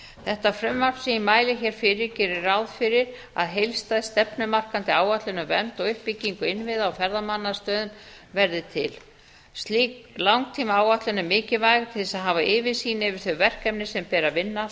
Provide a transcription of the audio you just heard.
þetta frumvarp sem ég mæli hér fyrir gerir ráð fyrir að heildstæð stefnumarkandi áætlun um vernd og uppbyggingu innviða á ferðamannastöðum verði til slík langtímaáætlun er mikilvægt til þess að hafa yfirsýn yfir þau verkefni sem ber að vinna